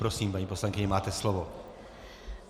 Prosím, paní poslankyně, máte slovo.